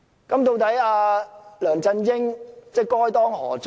究竟梁振英該當何罪？